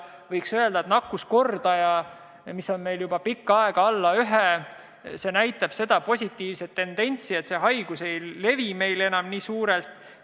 Võiks öelda, et nakkuskordaja, mis on meil juba pikka aega olnud väiksem kui 1, näitab positiivset tendentsi ehk see haigus ei levi meil enam nii laialdaselt.